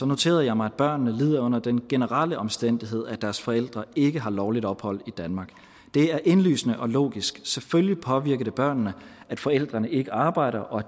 noterede jeg mig at børnene lider under den generelle omstændighed at deres forældre ikke har lovligt ophold i danmark det er indlysende og logisk selvfølgelig påvirker det børnene at forældrene ikke arbejder og